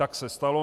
Tak se stalo.